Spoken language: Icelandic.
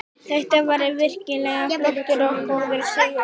Þetta var virkilega flottur og góður sigur.